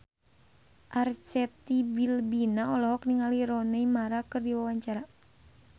Arzetti Bilbina olohok ningali Rooney Mara keur diwawancara